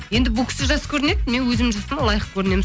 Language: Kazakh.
енді бұл кісі жас көрінеді мен өз жасыма лайық көрінемін